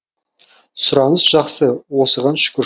сұраныс жақсы осыған шүкір